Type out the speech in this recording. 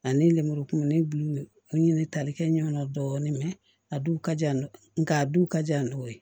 Ani lemurukumuniw ɲini tali kɛ ɲɛ dɔɔnin mɛ a du ka jan n'o ye nka a du ka jan n'o ye